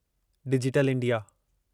digital India